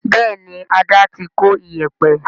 bẹẹni Ada tí kò Iyẹ̀pẹ̀